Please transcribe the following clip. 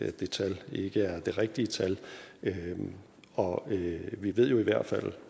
at det tal ikke er det rigtige tal og vi ved jo i hvert fald